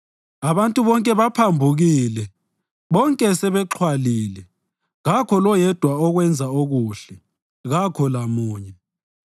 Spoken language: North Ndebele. Abantu bonke baphambukile, bonke sebexhwalile; kakho loyedwa owenza okuhle, kakho lamunye.